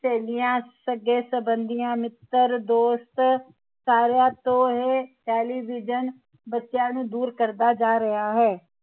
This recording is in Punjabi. ਸਹੇਲੀਆਂ ਸੱਘੇ ਸੰਬੰਧੀਆਂ ਮਿੱਤਰ ਦੋਸਤ ਸਾਰੀਆਂ ਤੋਂ ਇਹ ਟੈਲੀਵਿਜ਼ਨ ਬੱਚਿਆਂ ਨੂੰ ਦੂਰ ਕਰਦਾ ਜਾ ਰਿਹਾ ਹੈ